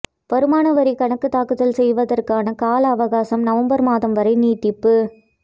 வருமான வரி கணக்குத் தாக்கல் செய்வதற்கான கால அவகாசம் நவம்பர் மாதம் வரை நீட்டிப்பு